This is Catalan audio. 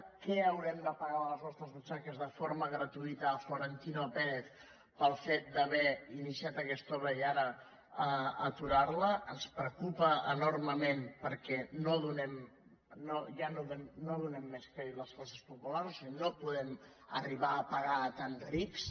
què haurem de pagar de les nostres butxaques de forma gratuïta a florentino pérez pel fet d’haver iniciat aquesta obra i d’ara aturar la ens preocupa enormement perquè ja no donem més crèdit les classes populars no podem arribar a pagar tants rics